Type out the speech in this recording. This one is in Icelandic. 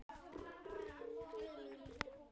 Þetta stendur nánast á pari.